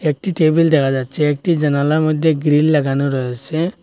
একটি টেবিল দেখা যাচ্ছে একটি জানালার মধ্যে গ্রিল লাগানো রয়েছে।